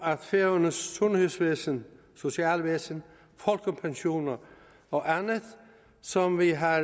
færøernes sundhedsvæsen socialvæsen folkepensioner og andet som vi har